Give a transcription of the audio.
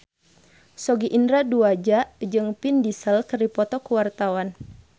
Sogi Indra Duaja jeung Vin Diesel keur dipoto ku wartawan